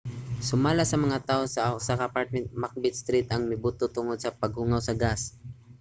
sumala sa mga taho usa ka apartment sa macbeth street ang mibuto tungod sa paghungaw sa gas